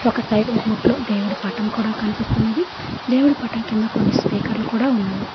ఒక సైడ్ గూట్లో దేవుడి పటం కూడా కనిపిస్తున్నది దేవుడు పటం కింద కొన్ని స్పీకర్లు కూడా ఉన్నది